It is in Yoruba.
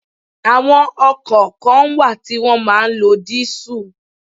Àwọn ọkọ̀ kan wà tí wọn máa ń lọ diesel.